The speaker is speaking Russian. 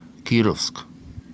кировск